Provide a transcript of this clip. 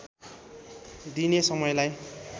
दिइने समयलाई